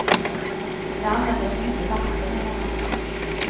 Jag använde för mycket vatten eller nåt.